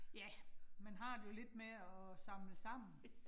Ja, man har det jo lidt med at samle sammen